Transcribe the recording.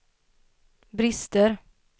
brister